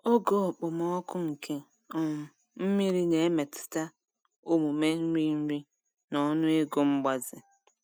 Ogo okpomọkụ nke um mmiri na-emetụta omume nri nri na ọnụego mgbaze.